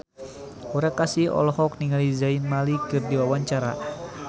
Aura Kasih olohok ningali Zayn Malik keur diwawancara